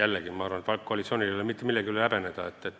jällegi, et koalitsioonil ei ole mitte midagi häbeneda.